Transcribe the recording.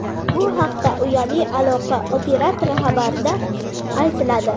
Bu haqda uyali aloqa operatori xabarida aytiladi .